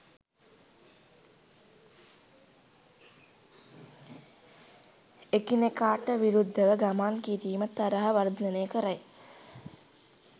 එකිනෙකාට විරුද්ධව ගමන් කිරීම තරහව වර්ධනය කරයි.